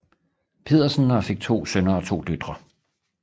Pedersen og fik to sønner og to døtre